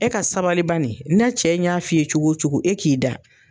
E ka sabali bani n'a cɛ in y'a f'i ye cogo o cogo e k'i da